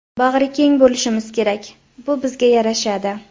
Bag‘rikeng bo‘lishimiz kerak bu bizga yarashadi.